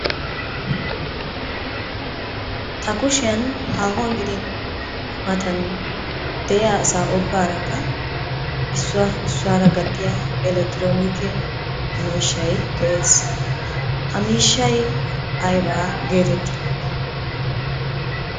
Ta kushiyan haahuwan gidin matan de'iya asaa ubbarakka issuwa issuwara gattiya elektroonikke miishshay de'es. Ha miishshay ayibaa geetettii?